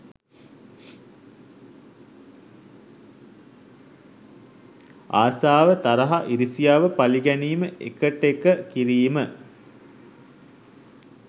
ආසාව තරහ ඉරිසියාව පළිගැනීම එකටෙක කිරීම